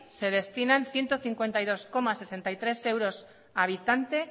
se destinan ciento cincuenta y dos coma sesenta y tres euros habitante